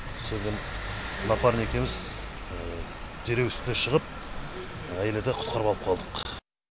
сонымен напарник екеуіміз дереу үстіне шығып әйелді құтқарып алып қалдық